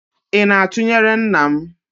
Ị na-atụnyere nna m?